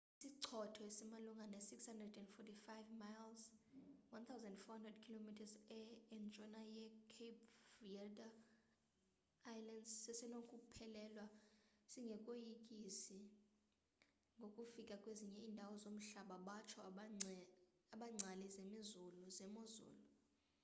isichotho esimalunga ne 645 miles 1040 km e entshona ye-cape verde islands sesenokuphelelwa singekoyikisi ngokufika kwezinye indawo zomhlaba batsho abengcali zemozulu